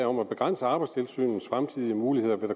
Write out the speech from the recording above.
om at begrænse arbejdstilsynets fremtidige muligheder vil